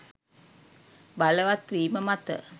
බලවත් වීම මත